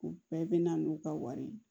U bɛɛ bɛ na n'u ka wari ye